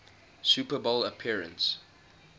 super bowl appearance